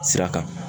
Sira kan